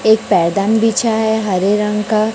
एक पैदान बिछा है हरे रंग का।